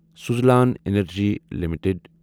Suzlon energy limited